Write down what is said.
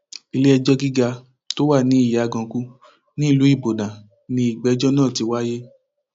iléẹjọ gíga tó wà ní ìyàgànkù nílùú ibodàn ni ìgbẹjọ náà ti wáyé